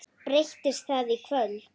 Breytist það í kvöld?